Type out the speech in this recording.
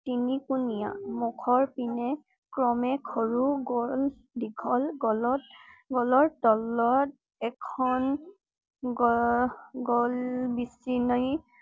তিনিকোণীয়া। মুখৰ পিনে ক্ৰমে সৰু, গল~দীঘল গলত গলৰ তলত এখন গৰ~গল বিচনি